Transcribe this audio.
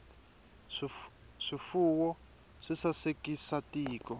swifuwo swi sasekisa tiko